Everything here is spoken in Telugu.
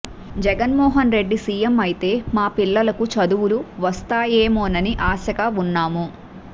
జగన్మోహన్ రెడ్డి సీఎం అయితే మా పిల్లలకు చదువులు వస్తాయేమోనని ఆశగా ఉన్నాము